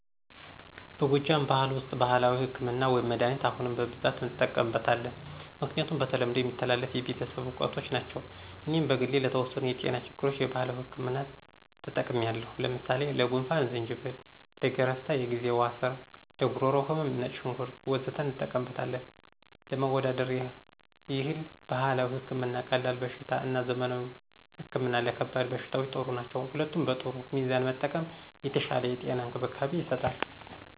በጎጃም ብኋል ውስጥ ባህላዊ ህክምና(መድኃኒት) አሁንም በብዛት እንጠቀምበት አለን። ምክንያቱም በተለምዶ የሚተላለፍ የቤተሰብ እውቀቶች ናቸው። እኔም በግሌ ለተወሰኑ የጤና ችግሮች የባህላዊ ህክምና ተጠቅሚለው ለምሳሌ፦ ለጉንፍን=ዝንጅብል፣ ለገረፍታ=የግዜዋ ስር፣ ለጉሮሮ ህመም =ነጭ ሽንኩርት... ወዘተ እንጠቀምበታለን። ለማወዳደር ይህል ባህላዊ ህክምና ቀላል በሽታ እና ዘመናዊ ህክምና ለከባድ በሽታዎች ጥሩ ነው። ሁለቱም በጥሩ ሚዛን መጠቀም የተሻለ የጤና እንክብካቤ ይሰጣል።